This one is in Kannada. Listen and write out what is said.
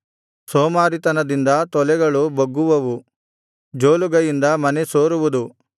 ಸೋಮಾರಿತನದಿಂದ ತೊಲೆಗಳು ಬೊಗ್ಗುವವು ಜೋಲುಗೈಯಿಂದ ಮನೆ ಸೋರುವುದು